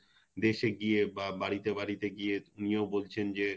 দেশে গিয়ে বা বাড়িতে বাড়িতে গিয়ে তিনিও বলছেন যে